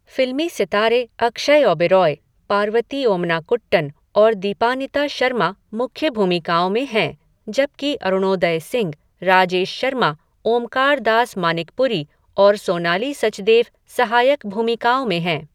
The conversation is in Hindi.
फिल्मी सितारे अक्षय ओबेरॉय, पार्वती ओमनाकुट्टन और दीपानिता शर्मा मुख्य भूमिकाओं में हैं, जबकि अरुणोदय सिंह, राजेश शर्मा, ओमकार दास मानिकपुरी और सोनाली सचदेव सहायक भूमिकाओं में हैं।